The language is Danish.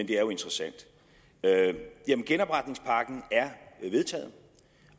det er jo interessant genopretningspakken er vedtaget